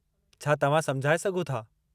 छा तव्हां समुझाए सघो था?